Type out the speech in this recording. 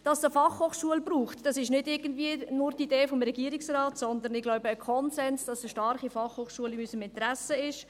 – Dass es eine Fachhochschule braucht, ist nicht irgendwie nur die Idee des Regierungsrates, sondern es ist ein Konsens, dass eine starke Fachhochschule in unserem Interesse ist.